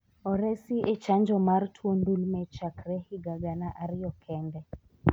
oresi e chanjo mar tuo ndulme chakre higa gana ariyo kende